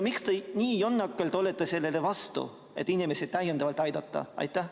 Miks te nii jonnakalt olete vastu sellele, et inimesi täiendavalt aidata?